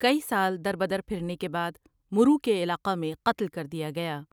کئی سال دربدر پھرنے کے بعد مرو کے علاقہ میں قتل کردیا گیا ۔